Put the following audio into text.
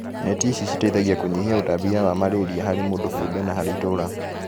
Neti ici citeithagia kũnyihia ũtambia wa malaria harĩ mũndũ kĩũmbe na harĩ itũra